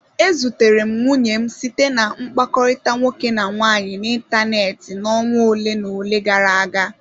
E zutere m nwunye m site na mkpakọrịta nwoke na nwaanyị n'ịntanetị n'ọnwa ole na ole gara aga.